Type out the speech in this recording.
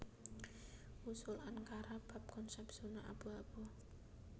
Usul Ankara bab konsèp zona abu abu